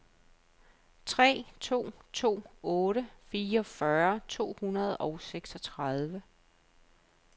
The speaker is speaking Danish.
tre to to otte fireogfyrre to hundrede og seksogtredive